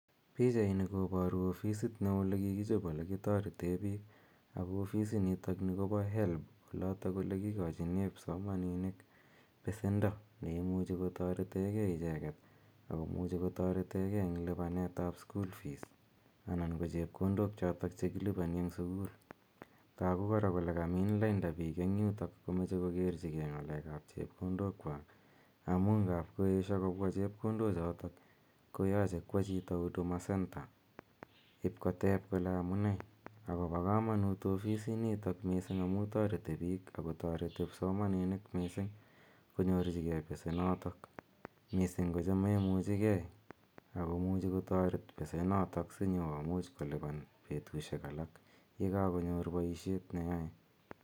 Pichani koparu ofisit neoo ole kikichop ole kitarete piik. Ako ofisinitani kopa HELB, yotok ole kikachine kipsomaninik pesendo ne imuchj kotarete gei icheget ako muchi kotaretegei eng' lipanet ap school fees anan ko chepkondok chotok che kilipani eng' sukul. Afo tagu kora kole kamiin lainda piik eng' yundok si kokerchigei ng'aleek ap chepkondokwak, amu ngaap koesho kopwa chepkondochotok, koyache kowa chito huduma center ip kotep kole amu nee. Ako pa kamanuut missing' ofisinitok amu imuchi kotaret piik ako tareti kipsomaninik missing' konyorchigei pesenotok, missing' ko cha memuchi gei ako muchi kotaret pesenotok si nyu kolipan petushek alak ye kakonyor poishet ne yae